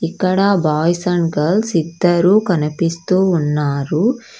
ఇక్కడ boys and girls ఇద్దరూ కనిపిస్తూ ఉన్నారు.